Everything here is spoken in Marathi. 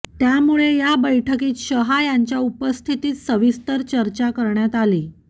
त्यामुळे या बैठकीत शहा यांच्या उपस्थितीत सविस्तर चर्चा करण्यात आली